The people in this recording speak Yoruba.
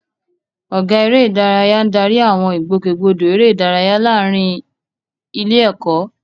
Ọ̀gá Eré ìdárayá ń darí àwọn ìgbòkègbodò eré ìdárayá láàárín ilé-ẹ̀kọ́.